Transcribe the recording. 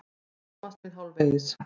Ég skammast mín hálfvegis.